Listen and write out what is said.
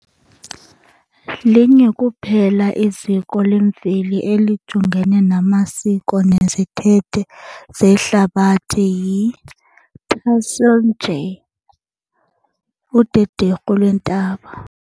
Linye kuphela iziko lemveli elijongene namasiko nezithethe zeHlabathi yi-Tassili n'Ajjer, udederhu lweentaba.